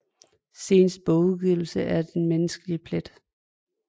Seneste bogudgivelse er Den menneskelige plet